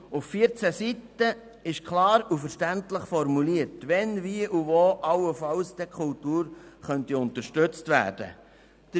Auf 14 Seiten ist klar und verständlich formuliert, wann, wie und wo die Kultur allenfalls unterstützt werden könnte.